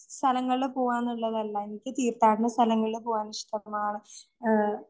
സ്ഥലങ്ങളില് പോകാനുള്ളതല്ലാ എനിക്ക് തീർത്ഥാടന സ്ഥലങ്ങളിൽ പോകാനിഷ്ടമാണ്‌.ആഹ്